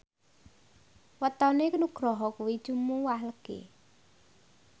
wetone Nugroho kuwi Jumuwah Legi